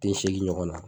Den segin ɲɔgɔn na